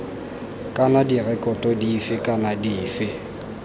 kana direkoto dife kana dife